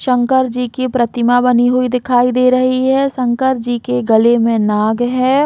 शंकर जी की प्रतिमा बनी हुई दिखाई दे रही है शंकर जी के गले में नाग है।